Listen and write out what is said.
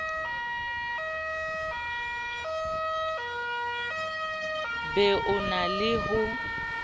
be o na le ho